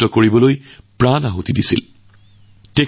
লালা জীৰ ব্যক্তিত্ব কেৱল স্বাধীনতাৰ যুঁজত সীমাবদ্ধ থাকিব নোৱাৰে